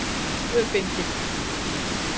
Tvö bindi.